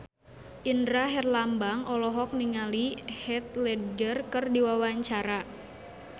Indra Herlambang olohok ningali Heath Ledger keur diwawancara